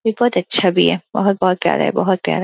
ये बोत अच्छा भी है। बोहोत-बोहोत प्यरा है बोहोत प्यरा।